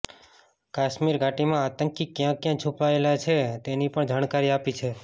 કાશ્મીર ઘાટીમાં આતંકી ક્યાં ક્યાં છુપાયેલા છે તેની પણ જાણકારી આપી છે